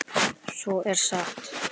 Svo er sagt.